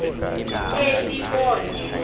elibode